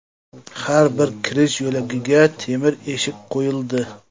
Har bir kirish yo‘lagiga temir eshik qo‘yildi.